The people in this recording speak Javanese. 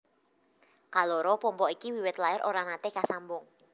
Kaloro pompa iki wiwit lair ora naté kasambung